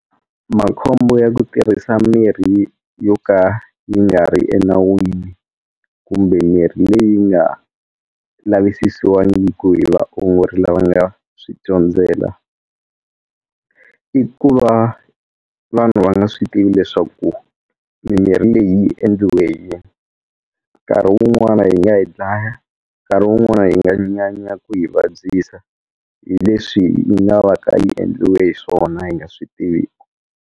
Makhombo ya ku tirhisa mirhi yo ka yi nga ri enawini kumbe mirhi leyi nga lavisisiwangiki hi vaongori lava nga ya swi dyondzela i ku va vanhu va nga swi tivi leswaku mimirhi leyi yi endliwe hi yini nkarhi wun'wana yi nga hi dlaya nkarhi wun'wana yi nga nyanya ku hi vabyisa hi leswi yi nga va ka yi endliwe hi swona hi nga swi tiviku.